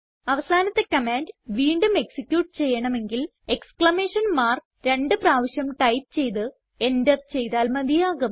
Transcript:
അവസാനത്തെ കമാൻഡ് വീണ്ടും എക്സിക്യൂട്ട് ചെയ്യണമെങ്കിൽ എക്സ്ക്ലമേഷൻ മാർക്ക് രണ്ട് പ്രാവശ്യം ടൈപ്പ് ചെയ്ത് എന്റർ ചെയ്താൽ മതിയാകും